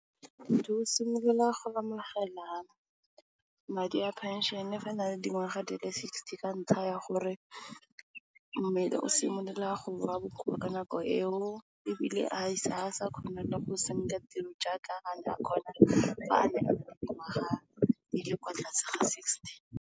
Motho o simolola go amogela madi a phenšene fa a na le dingwaga di le sixty ka ntlha ya gore mmele o simolola go ba bokoa ka nako eo ebile, ga sa kgona go tiro jaaka a ne a kgona, ga ne dingwaga di le kwa tlase ga sixty.